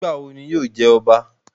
Nigbawo ni yóò jẹ ọba?